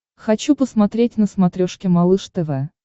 хочу посмотреть на смотрешке малыш тв